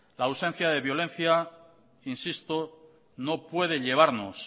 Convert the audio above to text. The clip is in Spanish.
la ausencia de violencia insisto no puede llevarnos